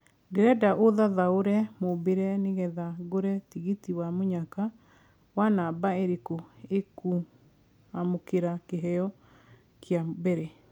ndĩreda ũthathaure mũmbire nĩ getha ngũre tigiti wa mũnyaka wa namba ĩrikũ ĩkũamukira Kĩheo kĩa mbere